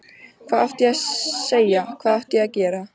Hvað átti ég að segja, hvað átti ég að gera?